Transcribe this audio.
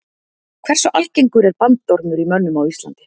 Hversu algengur er bandormur í mönnum á Íslandi?